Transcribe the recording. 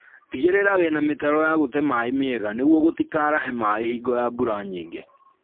Tigĩrĩra wĩna mĩtaro ya gũte maĩĩ mĩega nĩguo gũtikaarahe maĩĩ hingo ya mbura nyingĩ